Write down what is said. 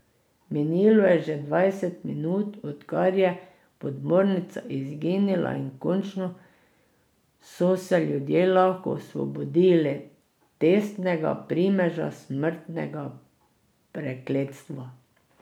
Minilo je že dvajset minut, odkar je podmornica izginila, in končno so se ljudje lahko osvobodili tesnega primeža smrtnega prekletstva.